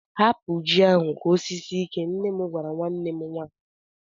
Hapụ ji ahụ ka o sisie ike! nne m gwara nwanne m nwaanyị ụnyaahụ.